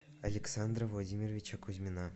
александра владимировича кузьмина